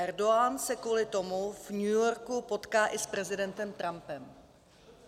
Erdogan se kvůli tomu v New Yorku potká i s prezidentem Trumpem."